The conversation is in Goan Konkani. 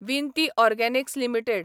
विनती ऑर्गॅनिक्स लिमिटेड